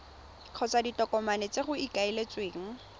kgotsa ditokomane tse go ikaeletsweng